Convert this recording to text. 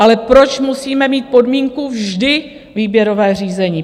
Ale proč musíme mít podmínku vždy výběrové řízení?